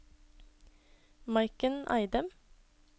Maiken Eidem